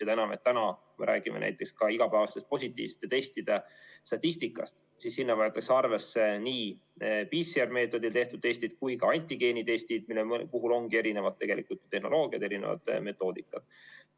Seda enam, et kui me räägime näiteks ka igapäevaste positiivsete testide statistikast, siis seal võetakse arvesse nii PCR‑meetodil tehtud testid kui ka antigeenitestid, mille puhul ongi erinevad tehnoloogiad, erinevad metoodikad.